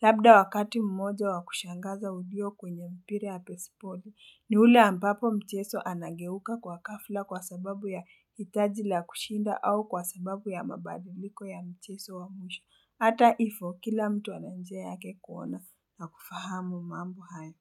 Labda wakati mmoja wakushangaza ulio kwenye mpira ya pesipodi, ni ule ambapo mcheso anageuka kwa ghafla kwa sababu ya hitaji la kushinda au kwa sababu ya mabadiliko ya mcheso wa mwisho. Ata hivo kila mtu ana njia yake kuona na kufahamu mambo haya.